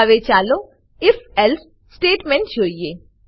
હવે ચાલો if else statement જોઈએ